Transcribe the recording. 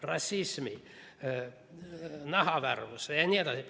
Rassism, nahavärvus jne.